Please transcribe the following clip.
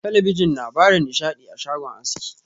Talabijin na bada nishaɗi a shagon aski.